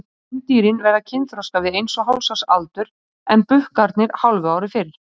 Kvendýrin verða kynþroska við eins og hálfs árs aldur en bukkarnir hálfu ári fyrr.